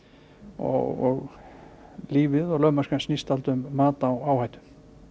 og lífið og lögmennskan snýst um mat á áhættu